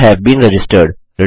you have been registered